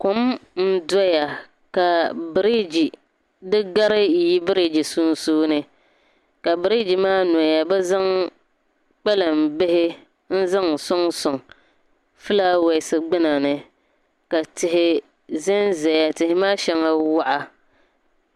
kom n doya ka biriji di gari yi biriji sunsuuni ka biriji maa noya bi zaŋ kpalaŋ bihi n zaŋ soŋsoŋ filaawaasi gbinani ka tihi zanzaya ka tihi maa sheŋa waɣa.